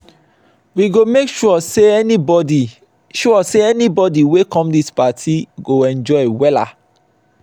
we go make sure sey anybodi sure sey anybodi wey come dis party go enjoy wella.